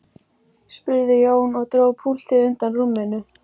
spurði Jón og dró púltið undan rúminu.